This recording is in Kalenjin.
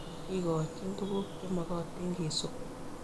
Kekoch tuguk che magatin kesup